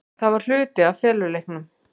Það var hluti af feluleiknum.